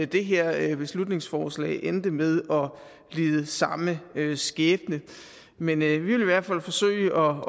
det her beslutningsforslag endte med at lide samme skæbne men vi vil i hvert fald forsøge